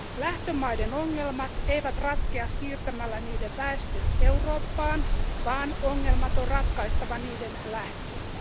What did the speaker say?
Lähtömaiden ongelmat eivät ratkea siirtämällä niiden väestö Eurooppaan, vaan ongelmat on ratkaistava niiden lähteellä.